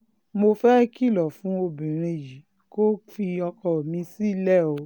mo fẹ́ẹ́ kìlọ̀ fún obìnrin yìí kó fi ọkọ mi sílẹ̀ o